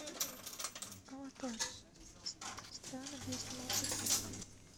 аватар страны где снимался фильм